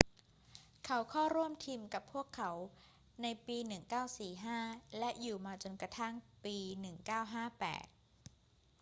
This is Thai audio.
เขาเข้าร่วมทีมกับพวกเขาในปี 1945 และอยู่มาจนกระทั่งปี 1958